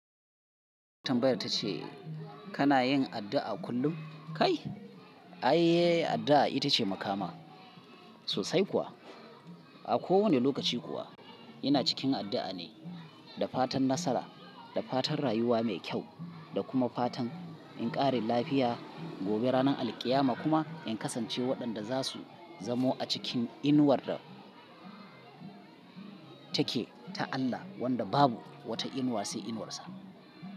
Tanbayar ta ce kana yin addu'a kullum? Kai, ayye addu'a ita ce makama sosai kuwa. A kowane lokaci kuwa ina cikin addu'a ne, da fatan nasara, da fatan rayuwa mai kyau da kuma fatan in ƙara lafiya gobe ranar alqiyama kuma in kasance waɗanda za su zamo a cikin inuwar da take ta Allah wanda babu wata inuwa sai inuwarsa.